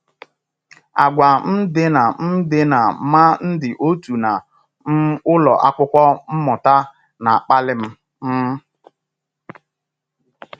Àgwà um dị na um dị na ma ndị otu na um ụlọ akwụkwọ mmuta na-akpali m. um